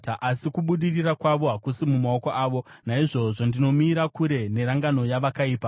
Asi kubudirira kwavo hakusi mumaoko avo, naizvozvo ndinomira kure nerangano yevakaipa.